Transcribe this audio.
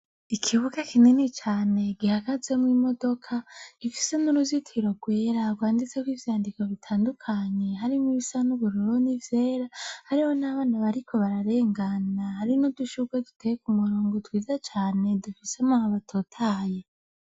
Ikibuga kinini cane gihagazemwo imodoka gifise n' uruzitiro gwera gwanditseko ivyandiko bitandukanye harimwo ibisa n' ubururu n' ivyera hariho n' abana bariko bararengana hari n' udushugwe duteye kumurongo twiza cane dufise amababi atotahaye.